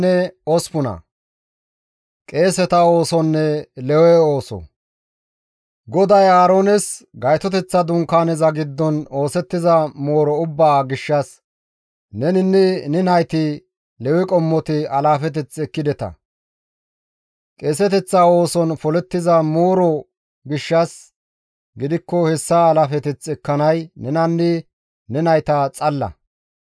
GODAY Aaroones, «Gaytoteththa Dunkaaneza giddon oosettiza mooro ubbaa gishshas neninne ne nayti, Lewe qommoti alaafeteth ekkideta; qeeseteththa ooson polettiza mooro gishshas gidikko hessa alaafeteth ekkanay nenanne ne nayta xalla.